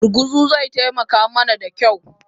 Gurguzu zai taimaka mana da kyau